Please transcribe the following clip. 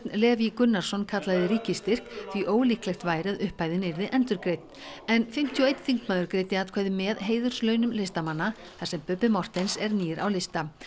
Leví Gunnarsson kallaði ríkisstyrk því ólíklegt væri að upphæðin yrði endurgreidd en fimmtíu og einn þingmaður greiddi atkvæði með heiðurslaunum listamanna þar sem Bubbi Morthens er nýr á lista